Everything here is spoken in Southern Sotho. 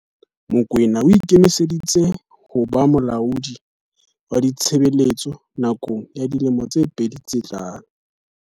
Mokoena o ikemiseditse ho ba molaodi wa ditshebetso nakong ya dilemo tse pedi tse tlang.